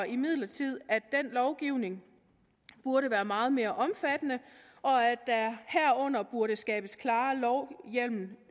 imidlertid at den lovgivning burde være meget mere omfattende og at der herunder burde skabes klarere lovhjemmel